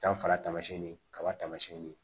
Danfara taamasiyɛn ni kaba tamasiyɛn ni